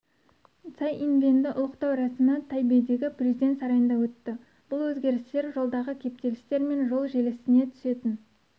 цай инвэньді ұлықтау рәсімі тайбэйдегі президент сарайында өтті бұл өзгерістер жолдағы кептелістер мен жол желісіне түсетін